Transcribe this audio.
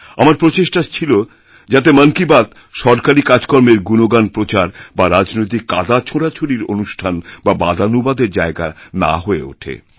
আমারপ্রচেষ্টা ছিল যাতে মন কি বাত সরকারী কাজকর্মের গুণগান প্রচার বা রাজনৈতিক কাদাছোঁড়াছুড়ির অনুষ্ঠান বা বাদানুবাদের জায়গা না হয়ে ওঠে